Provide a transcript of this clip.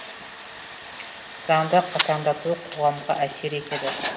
заңды қатаңдату қоғамға әсер етеді